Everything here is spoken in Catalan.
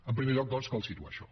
en primer lloc doncs cal situar això